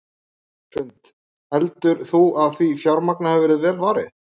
Hrund: Heldur þú að því fjármagni hafi verið vel varið?